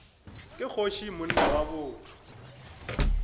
ke kgoši monna wa botho